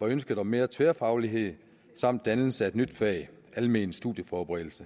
var ønsket om mere tværfaglighed samt dannelse af et nyt fag almen studieforberedelse